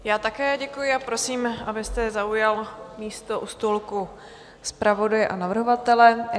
Já také děkuji a prosím, abyste zaujal místo u stolku zpravodaje a navrhovatele.